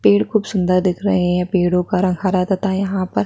पेड़ कुछ सुन्दर दिख रहे है पेड़ो का रंग हरा तथा यहाँ पर--